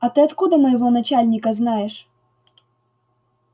а ты откуда моего начальника знаешь